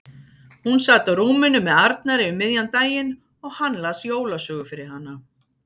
Hún sat á rúminu með Arnari um miðjan daginn og hann las jólasögu fyrir hana.